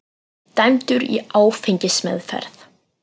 Dæmdur í áfengismeðferð